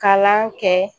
Kalan kɛ